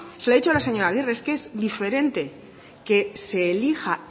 se lo he dicho a la señora agirre es diferente que se elija